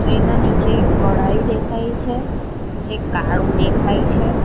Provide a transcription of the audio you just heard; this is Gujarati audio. તેના નીચે એક કઢાઈ દેખાય છે જે કાળુ દેખાય છે.